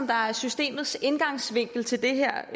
der er systemets indgangsvinkel til det her